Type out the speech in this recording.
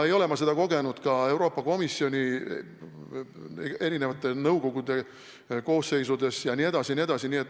Ei ole ma seda kogenud ka Euroopa Komisjoni erinevate nõukogude koosseisudes jne.